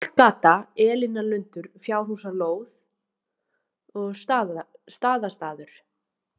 Pollgata, Elínarlundur, Fjárhúsalóð, Staðastaður